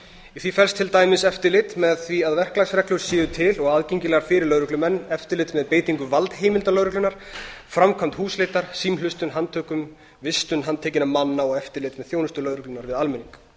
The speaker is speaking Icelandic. í því felst til dæmis eftirlit með því að verklagsreglur séu til og aðgengilegar fyrir lögreglumenn eftirlit með beitingu valdheimilda lögreglunnar framkvæmd húsleitar símhlustun handtökum vistun handtekinna manna og eftirlit með þjónustu lögreglunnar við almenning